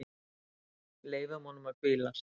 Leyfum honum að hvílast.